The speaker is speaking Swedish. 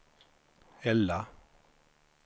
Ella